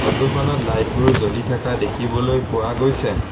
Photo খনত light বোৰ জ্বলি থকা দেখিবলৈ পোৱা গৈছে।